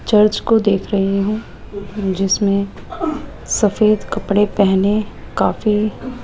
church को देख रहे हैं जिसमें सफेद कपड़े पहने काफी --